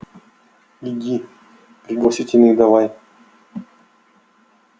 иди пригласительные давай